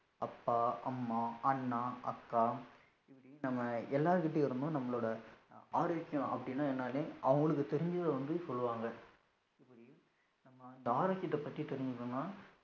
அப்பா, அம்மா, அண்ணா, அக்கா இப்படி நம்ம எல்லாருகிட்டயும் இருந்து நம்மலோட ஆரோக்கியம் அப்படினா என்னானூ அவங்களுக்கு தெரிஞ்சத வந்து சொல்லுவாங்க இப்படி நம்ம ஆரோக்கியத பத்தி தெரிஞ்சிகனூம்னா